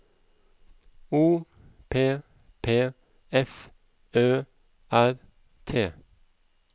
O P P F Ø R T